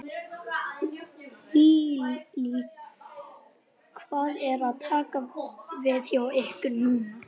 Lillý: Hvað er að taka við hjá ykkur núna?